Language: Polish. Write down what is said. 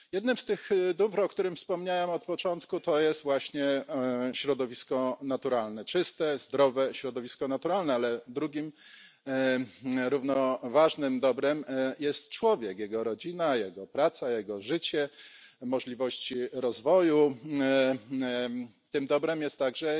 Jednym z tych dóbr, o którym wspomniałem na początku, jest właśnie środowisko naturalne, czyste, zdrowe środowisko naturalne, ale drugim równie ważnym dobrem jest człowiek, jego rodzina, jego praca, jego życie, możliwości rozwoju. Tym dobrem jest także